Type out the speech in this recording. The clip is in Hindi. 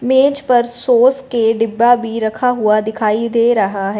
मेज पर सॉस के डिब्बा भी रखा हुआ दिखाई दे रहा है।